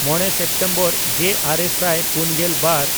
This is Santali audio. ᱢᱚᱬᱮ ᱥᱮᱯᱴᱮᱢᱵᱚᱨ ᱜᱮᱼᱟᱨᱮ ᱥᱟᱭ ᱯᱩᱱᱜᱮᱞ ᱵᱟᱨ